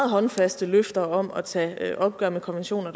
håndfaste løfter om at tage et opgør med konventioner